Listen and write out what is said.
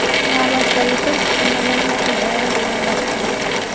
Navbatdagi tur kutilmagan natijalar bilan boshlandi.